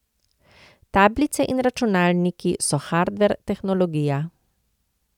Tablice in računalniki so hardver, tehnologija.